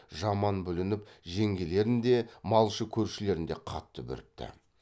жаман бүлініп жеңгелерін де малшы көршілерін де қатты бүріпті